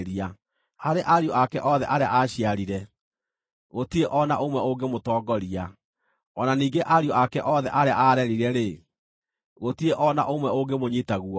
Harĩ ariũ ake othe arĩa aaciarire, gũtirĩ o na ũmwe ũngĩmũtongoria; o na ningĩ ariũ ake othe arĩa aarerire-rĩ, gũtirĩ o na ũmwe ũngĩmũnyiita guoko.